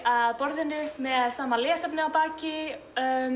að borðinu með sama lesefni að baki